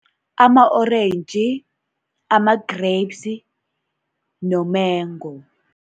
Ama-orentji, ama-grapes nomengo.